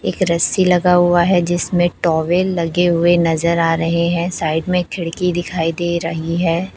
एक रस्सी लगा हुआ है जिसमें टॉवल लगे हुए नजर आ रहे हैं साइड में खिड़की दिखाई दे रही है।